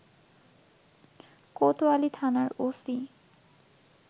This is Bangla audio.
কোতয়ালী থানার ওসি